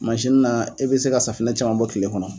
na e bɛ se ka safinɛ caman bɔ kile kɔnɔ.